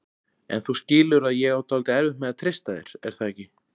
En þú skilur að ég á dálítið erfitt með að treysta þér, er það ekki?